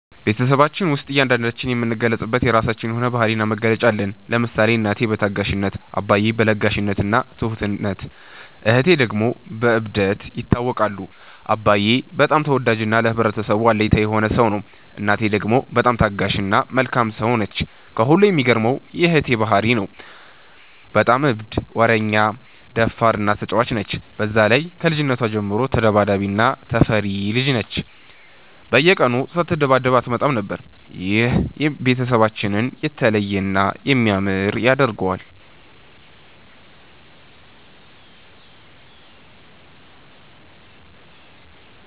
በቤትሰባችን ውስጥ እያንዳንዳችን የምንገለፅበት የራችን የሆነ ባህሪ እና መገለጫ አለን። ለምሳሌ እናቴ በታጋሽነት፣ አባዬ በ ለጋሽነት እና ትሁትነት እህቴ ደግሞ በ እብደት ይታወቃሉ። አባዬ በጣም ተወዳጅ እና ለህብረተሰቡ አለኝታ የሆነ ሰው ነው። እናቴ ደግሞ በጣም ታጋሽ እና መልካም ሰው ነች። ከሁሉም የሚገርመው የ እህቴ ባህሪ ነው። በጣም እብድ፣ ወረኛ፣ ደፋር እና ተጫዋች ነች። በዛ ላይ ከልጅነቷ ጀምሮ ተዳባዳቢ እና ተፈሪ ልጅ ነች፤ በየቀኑ ሳትደባደብ አትመጣም ነበር። ይህ ቤተሰባችንን የተለየ እና የሚያምር ያደርገዋል።